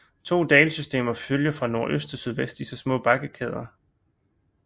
To dalsystemer følger fra nordøst til sydvest disse små bakkekæder